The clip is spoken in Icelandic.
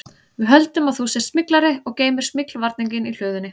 Við höldum að þú sért smyglari og geymir smyglvarninginn í hlöðunni